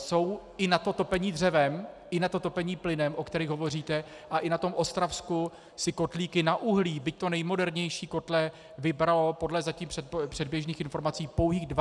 Jsou i na to topení dřevem i na to topení plynem, o kterých hovoříte, a i na tom Ostravsku si kotlíky na uhlí, byť to nejmodernější kotle, vybralo podle zatím předběžných informací pouhých 12 % lidí.